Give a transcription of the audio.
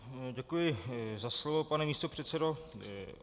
Děkuji za slovo, pane místopředsedo.